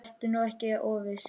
Vertu nú ekki of viss.